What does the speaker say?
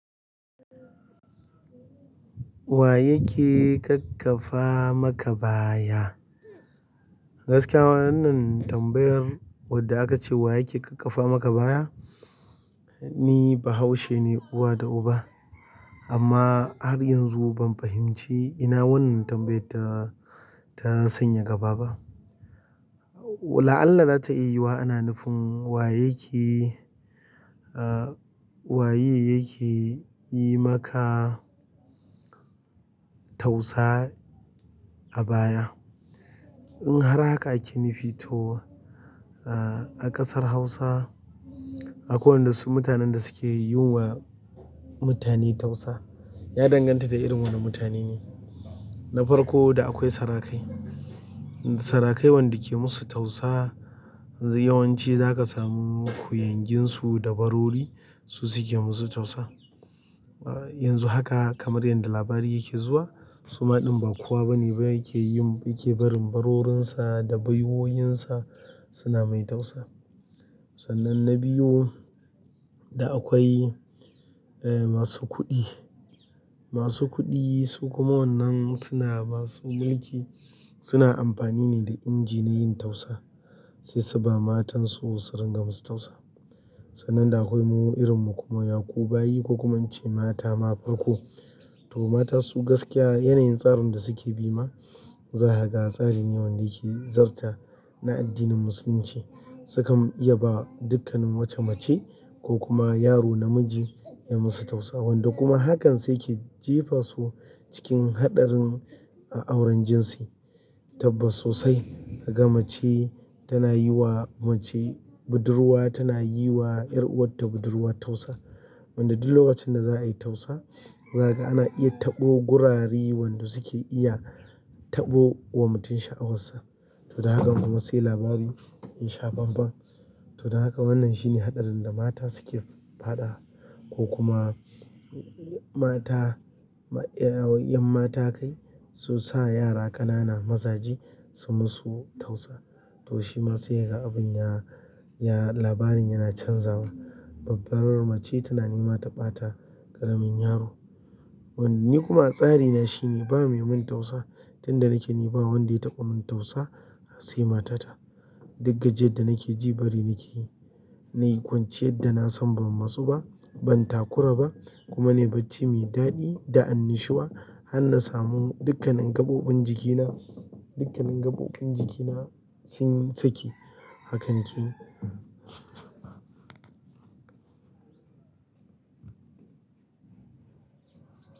Wa yake ƙaƙƙafa maka baya? Gaskiya wannan tambayar wadda aka ce wa yake ƙaƙƙafa maka baya, ni bahaushe ne uwa da uba amma har yanzu ban fahimci ina wannan tambayar ta, ta sanya gaba ba. La'ana za ta iya yi wa ana nufin wa yake, ah, wa yake yi maka tausa a baya. In har haka ake nufi to, ah, a ƙasar Hausa akwai waɗansu mutanen da suke yiwa mutane tausa. Ya danganta da irin wane mutane ne. Na farko da akwai sarakai. Sarakai wanda suke musu tausa yawanci zaka samu kuyangi su da barori suke musu tausa yanzu haka kamar yanda labari yake zuwa suma ɗin bakowa bane ba yake yin, yake barin barorinsa da baiwoyinsa suna mai tausaya. Sannan na biyu da akwai, eh, masu kuɗi. Masu kuɗi su kuma wannan suna masu mulki suna amfani ne da inji na yin tausa sai su ba matansu su ringa musu tausa. Sannan da akwai muma irinmu kuma yakubayi ko kuma an ce mata ma farko. To matansu gaskiya yanayin tsarin da suke bi ma, za kaga tsari ne wanda yake zarta na addinin musulunci. Sukan iya ba dukkanin wacce mace ko kuma yaro namiji ya musu tausa. Wanda kuma hakan suke jefasu cikin haɗarin auren jinsi kaga mace tana yi wa mace budurwa, tana yi wa 'yar'uwar ta budurwa tausa. Wanda duk lokacin da za a yi tausa, zakaga ana iya taɓo gurare wanda suke iya taɓo wa mutum sha'awar sa. To daga haka kuma sai labari ya sha bam-bam. To don haka wannan shine haɗarin da mata suke faɗawa ko kuma mata, 'yan mata kai su sa yara ƙanana mazaje su musu tausa. To shima sai kaga abin ya, ya labarin yana canzawa. Babbarar mace tana nema ta ɓata ƙaramin yaro. Wanda ni kuma tsari na shine ba mai min tausa tunda nake nema wanda ya taɓa min tausa sai matata. Duk gajiyar da nake ji bari nake yi. Na yi kwanciyar da na san ban matsu ba, ban takura ba kuma nai bacci mai daɗi da annushuwa. Har na samu dukkanin gaɓoɓin jikina, dukkanin gaɓoɓin jikina sun saki. Haka na ke yi.